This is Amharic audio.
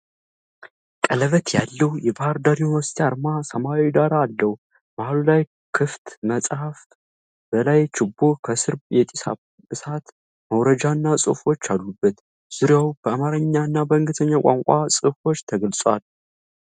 ቀለበት ያለው የባህር ዳር ዩኒቨርሲቲ አርማ ሰማያዊ ዳራ አለው። መሃሉ ላይ ክፍት መጽሐፍ፣ በላይ ችቦ፣ ከስር የጢስ እሳት መውረጃና ጽሑፎች አሉበት። ዙሪያው በአማርኛ እና በእንግሊዝኛ ቋንቋዎች ጽሑፎች ተገልጸዋል።